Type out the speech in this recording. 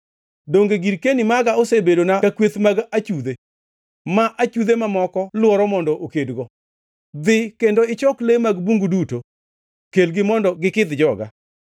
Donge girkeni maga osebedona ka kweth mag achudhe, ma achudhe mamoko lworo mondo okedgo? Dhi kendo ichok le mag bungu duto; kelgi mondo gikidh joga.